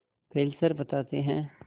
Fessler बताते हैं